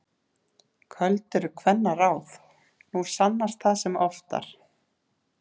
Köld eru kvennaráð, nú sannast það sem oftar.